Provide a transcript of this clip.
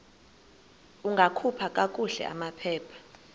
ungakhupha kakuhle amaphepha